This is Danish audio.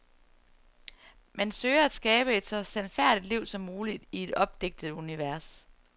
Man søger at skabe et så sandfærdigt liv som muligt i et opdigtet univers.